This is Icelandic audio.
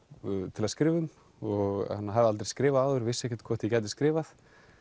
til að skrifa um og hafði aldrei skrifað áður vissi ekki hvort ég gæti skrifað